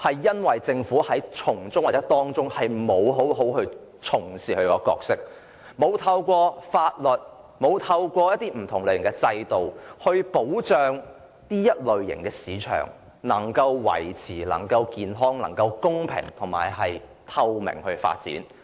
因為政府在過程中沒有好好履行其角色，沒有制定法律和建立不同類型的制度來保障創新科技市場能夠持續健康、公平而透明地發展。